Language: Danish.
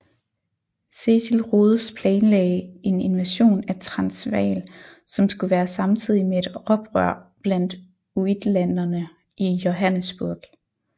Cecil Rhodes planlagde en invasion af Transvaal som skulle være samtidig med et oprør blandt uitlanderne i Johannesburg